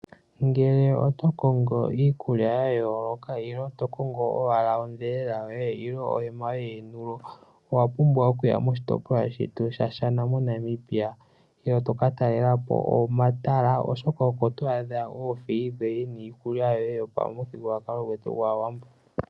Ngele oto kongo iikulya ya yooloka ilo to kongo owala odhelela yoye ilo ohema yoontulo owa pumbwa okuya moshitopolwa shetu shaShana moNamibia, eto ka talela po omatala oshoka oko to adha oofeyi dhoye niikulya yoye yopamuthigululwakalo gwetu gwaawambo.